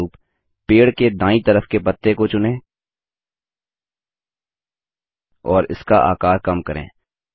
उदहारणस्वरूप पेड़ के दायीं तरफ के पत्ते को चुनें और इसका आकार कम करें